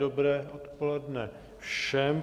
Dobré odpoledne všem.